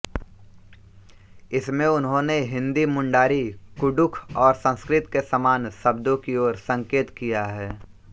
इसमें उन्होंने हिन्दी मुंडारी कुडुख और संस्कृत के समान शब्दों की ओर संकेत किया है